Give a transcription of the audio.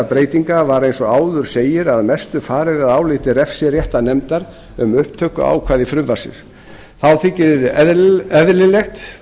breytinga var eins og áður segir að mestu farið að áliti refsiréttarnefndar um upptökuákvæði frumvarpsins þá þykir einnig eðlilegt